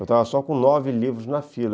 Eu estava só com nove livros na fila.